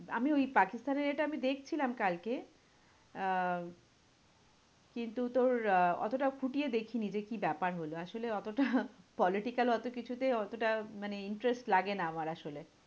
আমি ওই পাকিস্তানের এটা আমি দেখছিলাম কালকে আহ কিন্তু তোর আহ অতোটা খুঁটিয়ে দেখিনি যে, কি ব্যাপার হলো? আসলে অতোটা political অতো কিছুতেই অতোটা মানে interest লাগে না আমার আসলে।